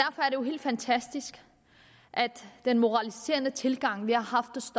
jo helt fantastisk at den moraliserende tilgang vi har